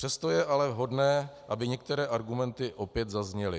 Přesto je ale vhodné, aby některé argumenty opět zazněly.